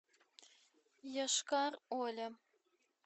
йошкар оле